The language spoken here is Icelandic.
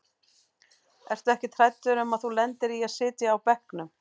Ertu ekkert hræddur um að þú lendir í að sitja á bekknum?